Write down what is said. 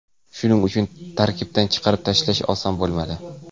Shuning uchun tarkibdan chiqarib tashlash oson bo‘lmadi.